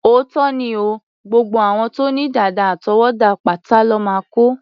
Òótọ́ ni o, gbogbo àwọn tó ní dàdà àtọwọ́dá pátá lọ́ máa kó.